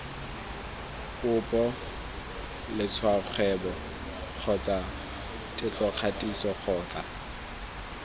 popo letshwaokgwebo kgotsa tetlokgatiso kgotsa